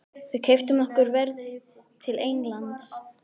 Við keyptum okkur ferð til Egyptalands.